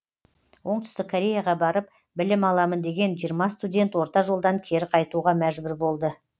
оңтүстік кореяға барып білім аламын деген жиырма студент орта жолдан кері қайтуға мәжбүр болды